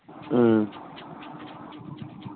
হম